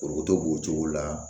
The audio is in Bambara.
Foronto b'o cogo la